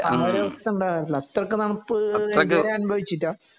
അങ്ങനെ ഒരു അവസ്ഥ ഉണ്ടാകാറില്ല അത്രക്ക് തണുപ്പ് ഇതുവരെ അനുഭവിച്ചില്ല